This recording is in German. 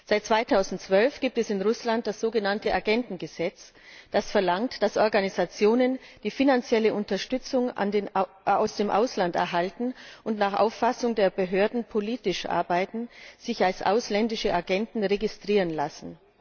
Seit 2012 gibt es in Russland das sogenannte Agentengesetz, das verlangt, dass Organisationen, die finanzielle Unterstützung aus dem Ausland erhalten und nach Auffassung der Behörden politisch arbeiten, sich als ausländische Agenten registrieren lassen.